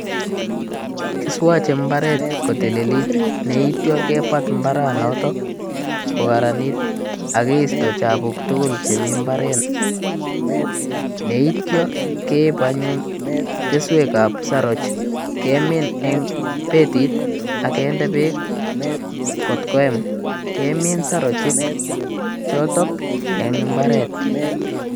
Kiswache imbaaret kotililit, neityo kebat imbaaranoto kokararanit aki keisto chapuk tugul chemi imbaaret, neityo keip anyuun keswekab saroch kemin eng betit akindeee beek kot koem, kemin sarochek choto eng imbareet.